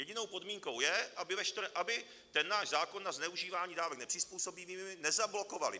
Jedinou podmínkou je, aby ten náš zákon na zneužívání dávek nepřizpůsobivými nezablokovali